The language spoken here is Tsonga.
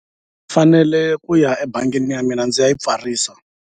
Fanele ku ya ebangini ya mina ndzi ya yi pfarisa.